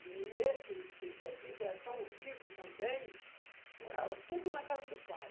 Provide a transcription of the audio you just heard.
E esse Zézito era tão rico também, morava tudo na casa do pai.